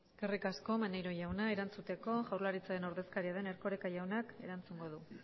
eskerrik asko maneiro jauna erantzuteko jaurlaritzaren ordezkaria den erkoreka jaunak erantzungo du